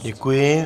Děkuji.